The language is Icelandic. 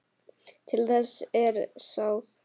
Til þess er sáð.